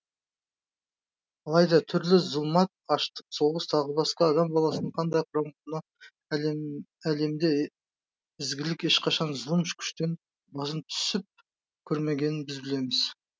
алайда түрлі зұлмат аштық соғыс тағы басқа адам баласын қынадай қырған мынау әлемде ізгілік ешқашан зұлым күштен басым түсіп көрмегенін біз білеміз